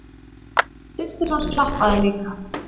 Systir hans klappaði líka.